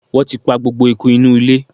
Wọ́n ti pa gbogbo eku inú ilé.